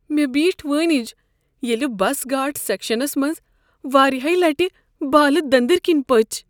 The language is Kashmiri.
مےٚ بیٹھ وٲنج ییٚلہ بس گھاٹ سیکشنس منٛز واریاہہِ لٹہ بالہٕ دٔنٛدر کِنۍ پچ۔